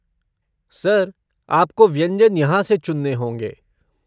Sir आपको व्यंजन यहाँ से चुनना होंगे।